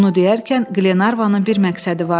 Bunu deyərkən Qlenarvanın bir məqsədi vardı.